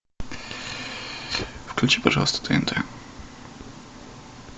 включи пожалуйста тнт